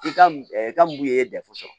I ka ka mun ye dɛfu sɔrɔ